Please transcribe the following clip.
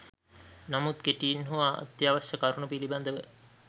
නමුත් කෙටියෙන් හෝ අත්‍යවශ්‍ය කරුණු පිළිබඳව